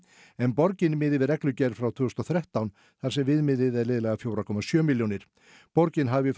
en borgin miðaði við reglugerð frá tvö þúsund og þrettán þar sem viðmiðið er liðlega fjögur komma sjö milljónir borgin hafi